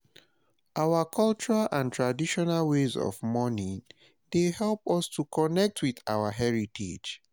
our cultural and traditional ways of mourning dey help us to connect with our heritage.